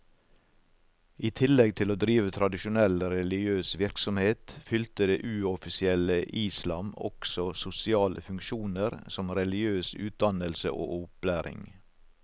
I tillegg til å drive tradisjonell religiøs virksomhet, fylte det uoffisielle islam også sosiale funksjoner som religiøs utdannelse og opplæring.